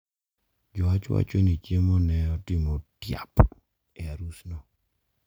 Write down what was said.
Jowach wacho ni chiemo ne otimo tiap e arusno.